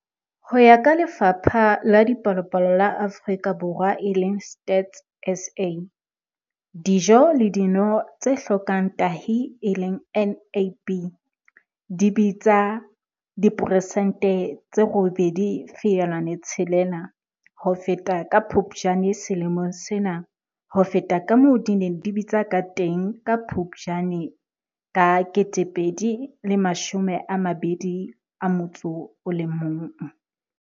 Ho ya ka Lefapha la Dipalopalo la Afrika Borwa, e leng Stats SA, dijo le dino tse hlokang tahi e leng NAB di bitsa diperesente tse 8.6 ho feta ka Phuptjane selemong sena ho feta kamoo di neng di bitsa kateng ka Phuptjane 2021.